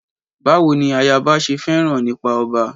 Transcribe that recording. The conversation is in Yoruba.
Báwo ni ayaba ṣe fẹ́ràn nípa ọba?